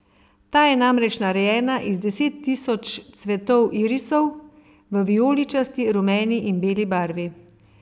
Ta je namreč narejena iz deset tisoč cvetov irisov v vijoličasti, rumeni in beli barvi.